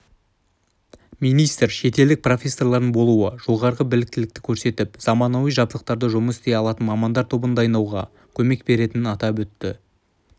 министр шетелдік профессорлардың болуы жоғары біліктілікті көрсетіп заманауи жабдықтарда жұмыс істей алатын мамандар тобын дайындауға көмек беретінін атап өтті